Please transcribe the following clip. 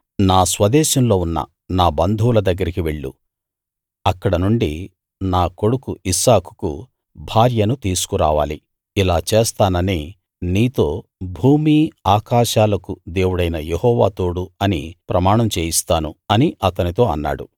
నా స్వదేశంలో ఉన్న నా బంధువుల దగ్గరికి వెళ్ళు అక్కడనుండి నా కొడుకు ఇస్సాకుకు భార్యను తీసుకురావాలి ఇలా చేస్తానని నీతో భూమీ ఆకాశాలకు దేవుడైన యెహోవా తోడు అని ప్రమాణం చేయిస్తాను అని అతనితో అన్నాడు